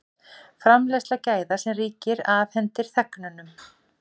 Framleiðsla gæða sem ríkið afhendir þegnunum